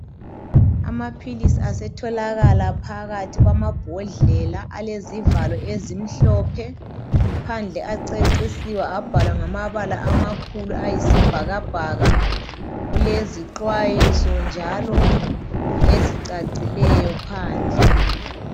Amaphilisi asetholakala phakathi kwamabhodlela alezivalo ezimhlophe. Phandle acecisiwe abhalwa ngamabala ayisibhakabhaka, kulezixwayiso njalo ezicacileyo phandle.